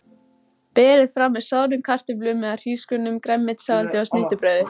Berið fram með soðnum kartöflum eða hrísgrjónum, grænmetissalati og snittubrauði.